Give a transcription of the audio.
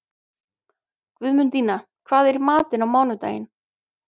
Guðmundína, hvað er í matinn á mánudaginn?